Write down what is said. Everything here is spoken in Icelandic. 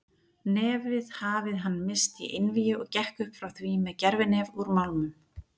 Nefið hafið hann missti í einvígi og gekk upp frá því með gervinef úr málmum.